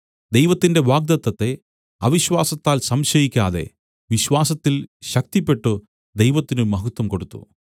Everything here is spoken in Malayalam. ദൈവത്തിന്റെ വാഗ്ദത്തത്തെ അവിശ്വാസത്താൽ സംശയിക്കാതെ വിശ്വാസത്തിൽ ശക്തിപ്പെട്ടു ദൈവത്തിന് മഹത്വം കൊടുത്തു